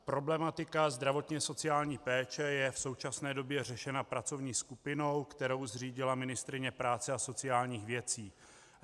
Problematika zdravotně-sociální péče je v současné době řešena pracovní skupinou, kterou zřídila ministryně práce a sociálních věcí.